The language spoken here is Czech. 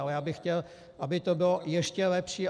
Ale já bych chtěl, aby to bylo ještě lepší.